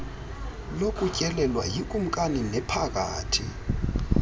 lokutyelelwa yikumkani nephakathi